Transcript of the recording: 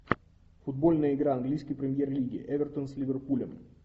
футбольная игра английской премьер лиги эвертон с ливерпулем